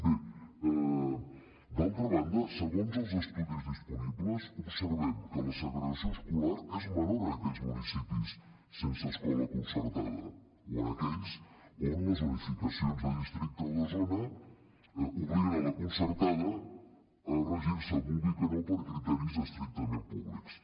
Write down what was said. bé d’altra banda segons els estudis disponibles observem que la segregació escolar és menor en aquells municipis sense escola concertada o en aquells on les unificacions de districte o de zona obliguen la concertada a regir se vulgui que no per criteris estrictament públics